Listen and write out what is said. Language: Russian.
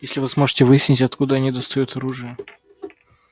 если вы сможете выяснить откуда они достают оружие